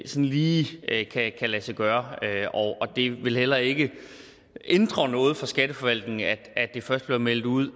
lige kan lade sig gøre og det vil heller ikke ændre noget for skatteforvaltningen at at det først bliver meldt ud